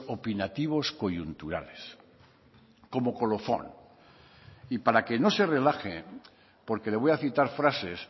opinativos coyunturales como colofón y para que no se relaje porque le voy a citar frases